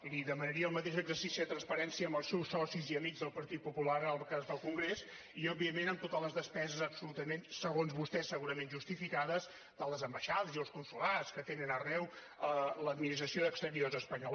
li demanaria el mateix exercici de transparència amb els seus socis i amics del partit popular en el cas del congrés i òbviament amb totes les despeses absolutament segons vostès segurament justificades de les ambaixades i els consolats que tenen arreu l’administració d’exteriors espanyola